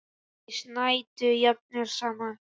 Þeir snæddu jafnvel saman.